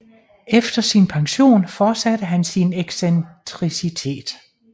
Efter sin pension forsatte han sin excentricitet